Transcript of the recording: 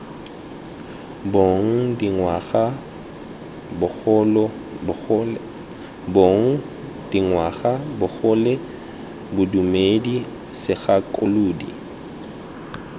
bong dingwaga bogole bodumedi segakolodi